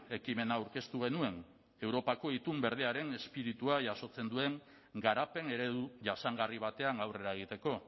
ekimena aurkeztu genuen europako itun berdearen espiritua jasotzen duen garapen eredu jasangarri batean aurrera egiteko